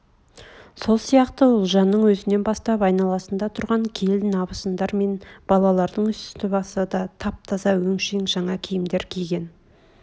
сол сияқты ұлжанның өзнен бастап айналасында тұрған келін абысындар мен балалардың үсті-басы да тап-таза өңшең жаңа киімдер кинген